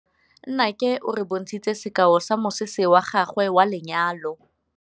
Nnake o re bontshitse sekaô sa mosese wa gagwe wa lenyalo.